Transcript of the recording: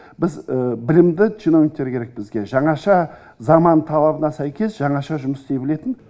біз білімді чиновниктер керек бізге жаңаша заман талабына сәйкес жаңаша жұмыс істей білетін